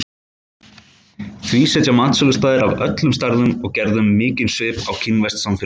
Því setja matsölustaðir af öllum stærðum og gerðum mikinn svip á kínverskt samfélag.